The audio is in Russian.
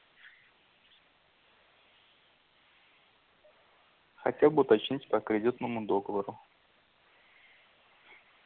хотя бы уточнить по кредитному договору